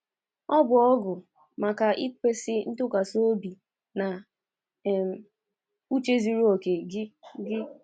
“Ọ bụ ọgụ maka ikwesị ntụkwasị obi na um uche zuru okè gị. gị.